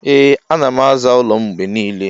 Ee anam aza ụlọ m mgbenile.